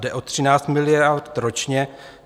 Jde o 13 miliard ročně.